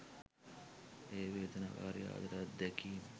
එය වේදනාකාරී ආදර අත්දැකීම්